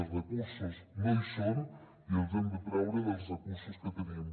els recursos no hi són i els hem de treure dels recursos que tenim